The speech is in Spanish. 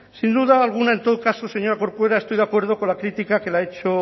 sin duda alguna en todo caso señora corcuera estoy de acuerdo con la crítica que le ha hecho